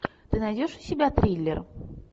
ты найдешь у себя триллер